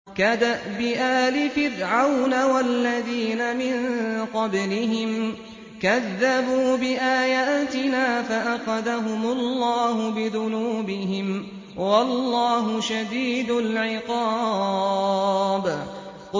كَدَأْبِ آلِ فِرْعَوْنَ وَالَّذِينَ مِن قَبْلِهِمْ ۚ كَذَّبُوا بِآيَاتِنَا فَأَخَذَهُمُ اللَّهُ بِذُنُوبِهِمْ ۗ وَاللَّهُ شَدِيدُ الْعِقَابِ